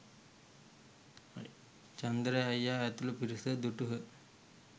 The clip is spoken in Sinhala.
චන්දරේ අයියා ඇතුළු පිරිස දුටහ